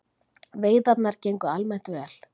Veiðarnar gengu almennt vel